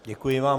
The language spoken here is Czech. Děkuji vám.